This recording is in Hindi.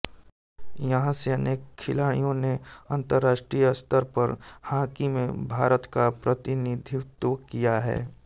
यहां से अनेक खिलाड़ियों ने अंतर्राष्ट्रीय स्तर पर हॉकी में भारत का प्रतिनिधित्व किया है